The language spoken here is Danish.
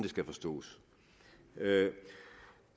skal forstås